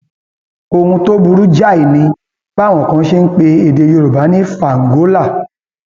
ohun tó burú jáì ni báwọn kan ṣe ń pe èdè yorùbá ní fàǹgólà